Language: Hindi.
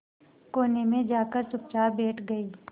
कोने में जाकर चुपचाप बैठ गई